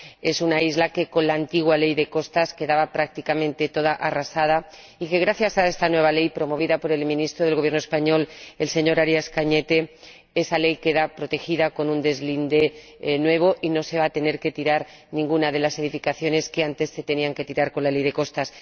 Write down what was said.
Es una isla que, con la antigua Ley de Costas, quedaba prácticamente toda arrasada y, gracias a esta nueva ley —promovida por el ministro del Gobierno español, el señor Arias Cañete—, queda protegida con un deslinde nuevo y no se va a tener que tirar ninguna de las edificaciones que antes se tenían que tirar con la antigua Ley de Costas.